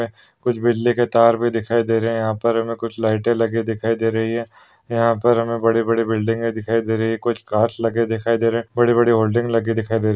कुछ बिजली के तार भी दिखाई दे रहे। यहा पर हमे कुछ लाइट लगे दिखाई दे रही है। यहा पर हमे बड़े-बड़े बिल्डिंग दिखाई दे रही है। कुछ कार्स लगे दिखाई दे रहे। बडी बडी होर्डिंग लगे दिखाई दे रही।